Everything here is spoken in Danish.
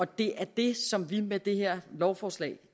det er det som vi med det her lovforslag